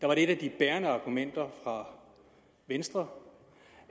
var et af de bærende argumenter fra venstre